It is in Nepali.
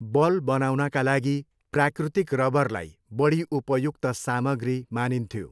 बल बनाउनका लागि प्राकृतिक रबरलाई बढी उपयुक्त सामग्री मानिन्थ्यो।